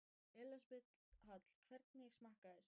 Elísabet Hall: Hvernig smakkaðist?